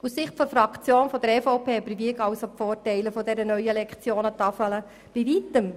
Aus Sicht der EVP-Fraktion überwiegen somit die Vorteile der neuen Lektionentafel bei weitem.